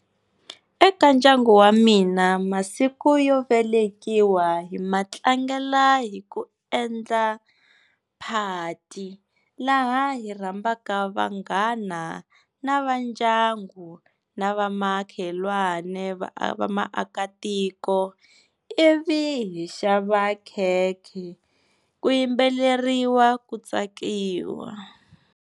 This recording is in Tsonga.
Eka ndyangu wa mina masiku yo velekiwa hi matlangela hi ku endla phati laha hi rhambaka vanghana na va ndyangu na va makhelwane, va maakatiko i vi hi xava khekhe ku yimbeleriwa ku tsakiwa.